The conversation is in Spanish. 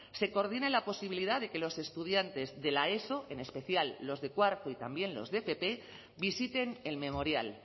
se coordine la posibilidad de que los estudiantes de la eso en especial los de cuarto y también los de fp visiten el memorial